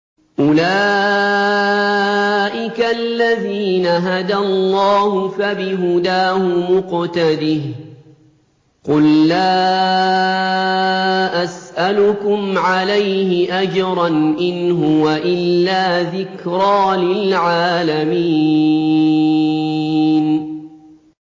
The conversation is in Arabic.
أُولَٰئِكَ الَّذِينَ هَدَى اللَّهُ ۖ فَبِهُدَاهُمُ اقْتَدِهْ ۗ قُل لَّا أَسْأَلُكُمْ عَلَيْهِ أَجْرًا ۖ إِنْ هُوَ إِلَّا ذِكْرَىٰ لِلْعَالَمِينَ